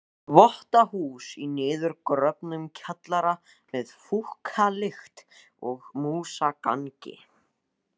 Þvottahús í niðurgröfnum kjallara með fúkkalykt og músagangi.